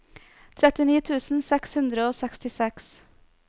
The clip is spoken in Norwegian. trettini tusen seks hundre og sekstiseks